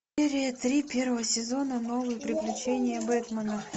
серия три первого сезона новые приключения бэтмена